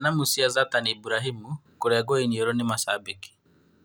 Thanamu cia Zatani Iburahĩmu kũrengwo iniũrũ nĩ 'macambĩki'